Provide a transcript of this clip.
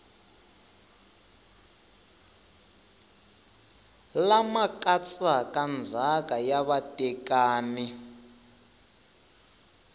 lama katsaka ndzhaka ya vatekani